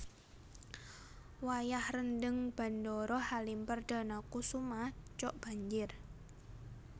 Wayah rendheng Bandara Halim Perdanakusuma cok banjir